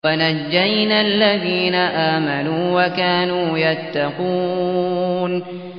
وَنَجَّيْنَا الَّذِينَ آمَنُوا وَكَانُوا يَتَّقُونَ